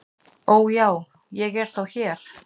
"""Ó, já, ég er þá hér"""